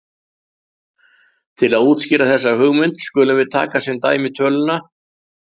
Til að útskýra þessa hugmynd skulum við taka sem dæmi töluna